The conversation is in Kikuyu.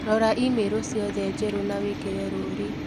Rora i-mīrū ciothe njerũ na wĩkĩre rũũri